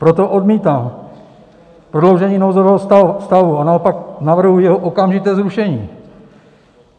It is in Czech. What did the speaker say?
Proto odmítám prodloužení nouzového stavu a naopak navrhuji jeho okamžité zrušení.